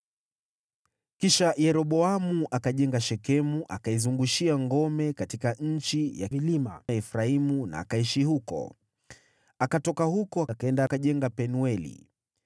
Kisha Yeroboamu akajenga Shekemu akaizungushia ngome katika nchi ya vilima ya Efraimu na akaishi huko. Akatoka huko, akaenda akajenga Penueli.